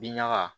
Bin ɲaga